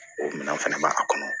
O minɛn fɛnɛ b'a kɔnɔ